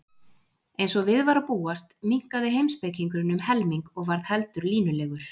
Eins og við var að búast minnkaði heimspekingurinn um helming og varð heldur línulegur.